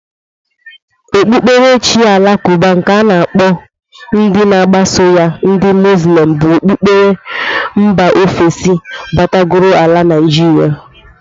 Okpukperechi alakụba nke a na-akpọ ndị na-agbaso ya ndị Moslem bụ okpukperechi nba ofesi batagoro ala Naijiria.